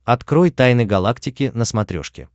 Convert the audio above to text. открой тайны галактики на смотрешке